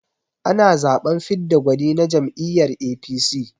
Ana zaɓen fidda gwani na jam'iyyar APC.